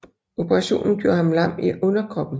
Operationen gjorde ham lam i underkroppen